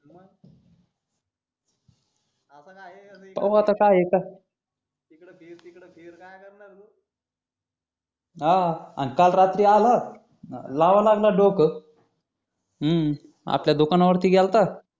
पाहू आता काय हे कस इकडं फीर तिकडं फिर काय करणार हे तो हा आणि काल रात्री आला लावा लागला डोकं हम्म आपल्या दुकानावरती गेलता